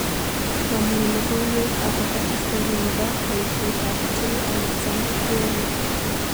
Mami logoiywek akobo histori nebo boisietab J Alexander Kueng